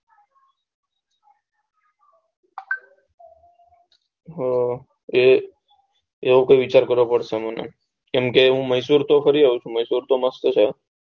અર હમ એવો કૈક વિચાર કરવો પડશે મને કેમ કે હું મૈસુર તો ફરી આયો છું મૈસુર તો મસ્ત છે